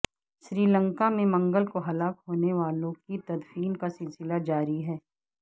سری لنکا میں منگل کو ہلاک ہونے والوں کی تدفین کا سلسلہ جاری ہے